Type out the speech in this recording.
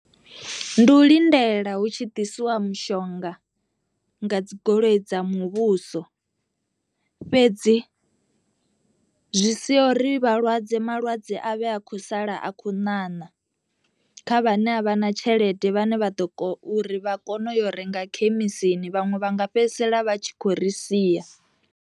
Ndi u lindela hu tshi ḓisiwa mishonga nga dzi goloi dza muvhuso, fhedzi zwi sia uri vhalwadze malwadze a vhe a khou sala a khou ṋaṋa kha vhane a vha na tshelede vhane vha ḓo uri vha kone u yo renga khemisini vhaṅwe vha nga fhedzisela vha tshi khou ri sia.